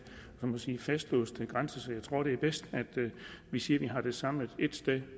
man kan sige fastlåste grænser så jeg tror at det er bedst at vi siger at vi har det samlet ét sted